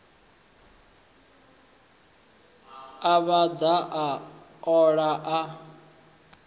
a vhaḓa a ola a